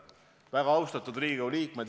Väga austatud Riigikogu liikmed!